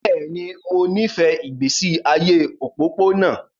Bẹ́ẹ̀ ni, mo nífẹ̀ẹ́ ìgbésí ayé òpópónà